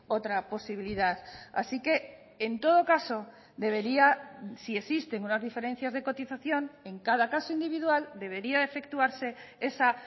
otra posibilidad así que en todo caso debería si existen unas diferencias de cotización en cada caso individual debería efectuarse esa